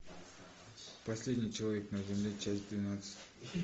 последний человек на земле часть двенадцать